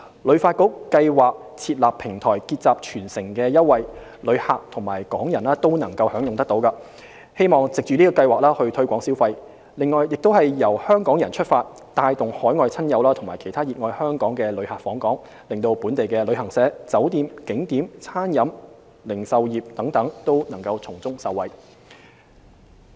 旅發局計劃設立平台結集全城優惠，旅客及港人均可享用，希望藉計劃推動消費，亦由香港人出發，帶動海外親友及其他熱愛香港的旅客訪港，令本地的旅行社、酒店、景點、餐飲業、零售業等都可以從中受惠。